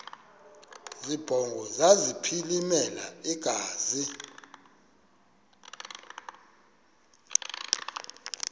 zibongo zazlphllmela engazi